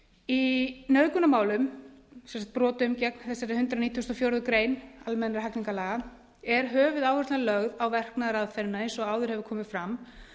í nauðgunarmálum sem sagt brotum gegn þessari hundrað nítugasta og fjórðu grein almennra hegningarlaga er höfuðáherslan lögð á verknaðaraðferðina eins og áður hefur komið fram